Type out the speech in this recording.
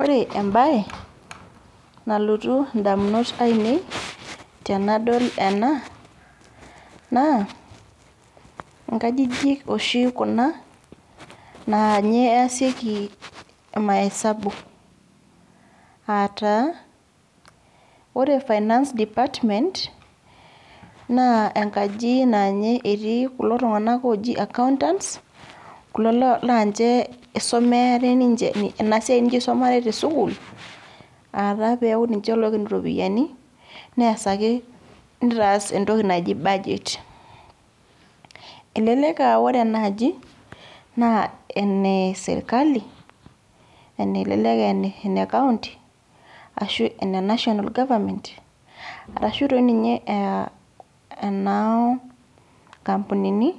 Ore ebae, nalotu indamunot ainei, tenadol ena, naa, inkajijik oshi kuna, naanye easieki imaesabu. Ataa, ore finance department, naa enkaji naanye etii kulo tung'anak oji accountants, kulo lanche isomeare ninche enasiai ninche isumare tesukuul, ataa peku ninche loiken iropiyiani, nees ake nitaas entoki naji budget. Elelek ah ore enaaji, naa ene serkali, elelek ah ene kaunti, ashu ene National Government, arashu toi ninye ah enoo nkampunini